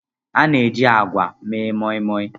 A na-eji agwa mee Moimoi.